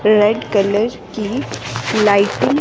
red colour की lighting--